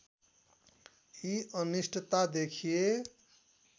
यी अनिष्टता देखिए